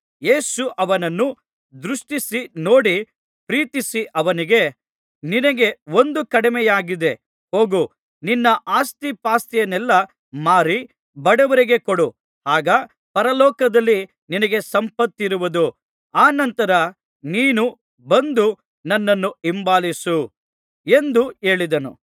ಯೇಸು ಅವನನ್ನು ದೃಷ್ಟಿಸಿ ನೋಡಿ ಪ್ರೀತಿಸಿ ಅವನಿಗೆ ನಿನಗೆ ಒಂದು ಕಡಿಮೆಯಾಗಿದೆ ಹೋಗು ನಿನ್ನ ಆಸ್ತಿಪಾಸ್ತಿಯನ್ನೆಲ್ಲಾ ಮಾರಿ ಬಡವರಿಗೆ ಕೊಡು ಆಗ ಪರಲೋಕದಲ್ಲಿ ನಿನಗೆ ಸಂಪತ್ತಿರುವುದು ಅನಂತರ ನೀನು ಬಂದು ನನ್ನನ್ನು ಹಿಂಬಾಲಿಸು ಎಂದು ಹೇಳಿದನು